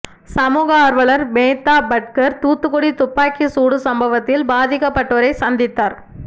சமூக ஆர்வலர் மேதா பட்கர் தூத்துக்குடி துப்பாக்கிச் சூடு சம்பவத்தில் பாதிக்கப்பட்டோரை சந்தித்தார்